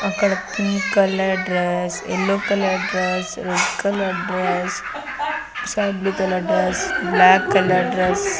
అక్కడ pink colour dress yellow colour dress red colour dress sky blue colour dress black colour dress --